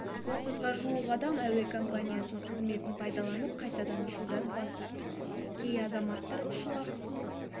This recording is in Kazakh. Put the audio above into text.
отызға жуық адам әуе компаниясының қызметін пайдаланып қайтадан ұшудан бас тартыпты кей азаматтар ұшу ақысын